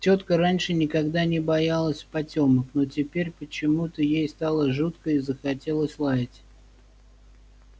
тётка раньше никогда не боялась потёмок но теперь почему-то ей стало жутко и захотелось лаять